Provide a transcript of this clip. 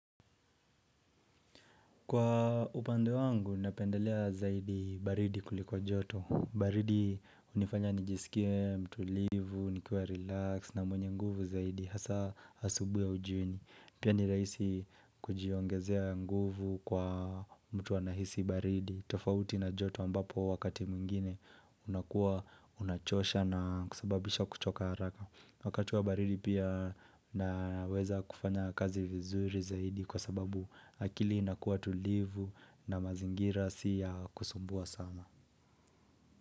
Kwa upande wangu, napendelea zaidi baridi kuliko joto. Baridi hunifanya nijisikie mtulivu, nikiwa relax na mwenye nguvu zaidi. Hasa asubuhi au jioni. Pia nirahisi kujiongezea nguvu kwa mtu anahisi baridi. Tofauti na joto ambapo wakati mwingine unakuwa unachosha na kusababisha kuchoka haraka. Wakati wa baridi pia naweza kufanya kazi vizuri zaidi kwa sababu. Akili ina kuwa tulivu na mazingira siya kusumbua sama.